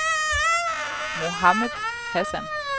Mohamed Hassan